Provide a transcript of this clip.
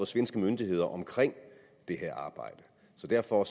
svenske myndigheder om det her arbejde så derfor